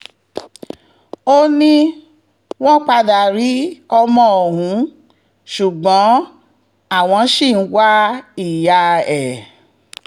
ó ní wọ́n padà rí ọmọ ọ̀hún ṣùgbọ́n àwọn ṣì ń wá ìyá ẹ̀